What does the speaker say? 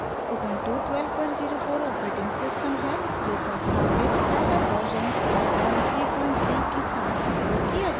Ubuntu 1204 operating system है जो संस्थापित scilab वर्जन 533 के साथ उपयोग किया जाता है